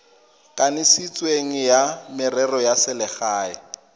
kanisitsweng wa merero ya selegae